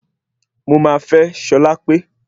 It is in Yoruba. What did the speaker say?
Mo máa fẹ́ Ṣọlápé